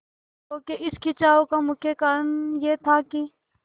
लोगों के इस खिंचाव का मुख्य कारण यह था कि